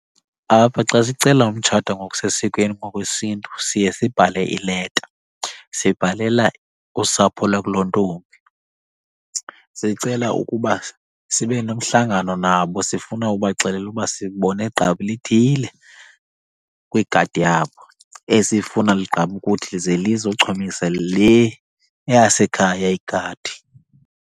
Apha xa sicela umtshata ngokusesikweni ngokwesiNtu siye sibhale ileta sibhalela usapho lwakulontombi. Sicela ukuba sibe nomhlangano nabo, sifuna ubaxelela uba sibone gqabi lithile kwigadi yabo esifuna ligqame ukuthi ze lizochumisa le yasekhaya igadi.